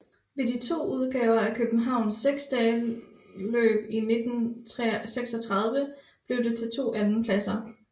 Ved de to udgaver af Københavns seksdagesløb i 1936 blev det til to andenpladser